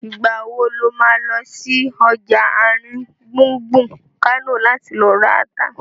Ìgbà wo lo má lọ sí ọjà àrin gbùngbùn Kánò láti lọ ra ata?